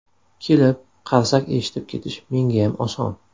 Kelib, qarsak eshitib ketish mengayam oson.